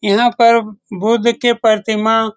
यहाँ पर बुद्ध की प्रतिमा --